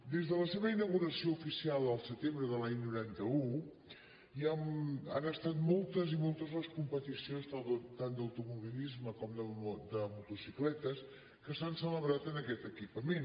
des de la seva inauguració oficial al setembre de l’any noranta un han estat moltes i moltes les competicions tant d’automobilisme com de motocicletes que s’han celebrat en aquest equipament